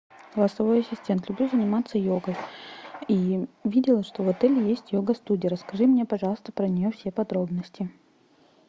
голосовой ассистент люблю заниматься йогой и видела что в отеле есть йога студия расскажи мне пожалуйста про нее все подробности